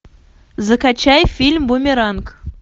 закачай фильм бумеранг